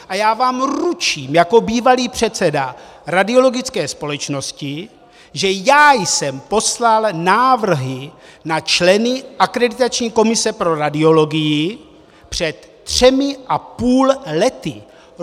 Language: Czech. A já vám ručím jako bývalý předseda radiologické společnosti, že já jsem poslal návrhy na členy akreditační komise pro radiologii před třemi a půl lety.